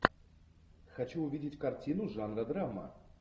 хочу увидеть картину жанра драма